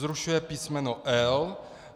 Zrušuje písmeno l).